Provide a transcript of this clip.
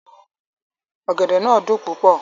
Ọ̀gẹ̀dẹ̀ náà dùn púpọ̀